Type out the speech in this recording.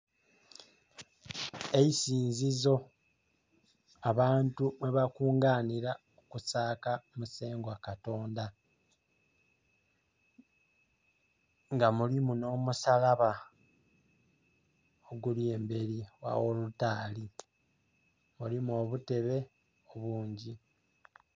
Eisinzizo abantu mwe bakunganira ku saaka musengwa katonda nga mulimu no musalaba oguli emberi wawolitari. Mulimu obuteebe bungi.